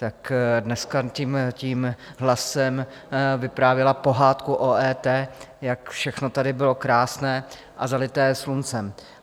Tak dneska tím hlasem vyprávěla pohádku o EET, jak všechno tady bylo krásné a zalité sluncem.